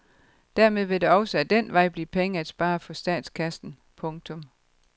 Dermed vil der også af den vej blive penge at spare for statskassen. punktum